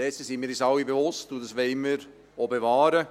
Dessen sind wir uns alle bewusst, und das wollen wir auch bewahren.